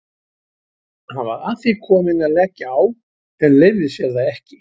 Hann var að því kominn að leggja á en leyfði sér það ekki.